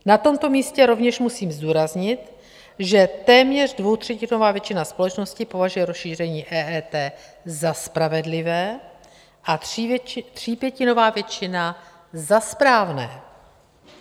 Na tomto místě rovněž musím zdůraznit, že téměř dvoutřetinová většina společnosti považuje rozšíření EET za spravedlivé a třípětinová většina za správné.